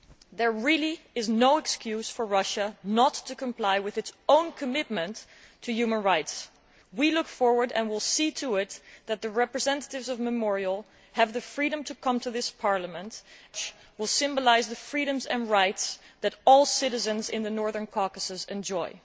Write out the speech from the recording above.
There really is no excuse for Russia not to comply with its own commitment to human rights. We look forward and will see to it that the representatives of Memorial have the freedom to come to this Parliament, thereby symbolising the freedoms and rights that all citizens in the Northern Caucasus enjoy.